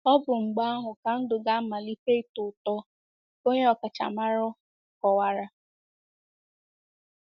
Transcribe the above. Ọ bụ mgbe ahụ ka ndụ ga - amalite ịtọ ụtọ, onye ọkachamara kowara.